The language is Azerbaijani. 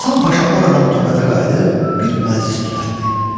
Hasan Paşa oradan Toqata qayıdıb bir məclis düzəltdi.